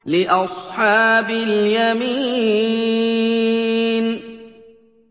لِّأَصْحَابِ الْيَمِينِ